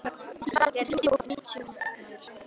Falgeir, hringdu í Búa eftir níutíu mínútur.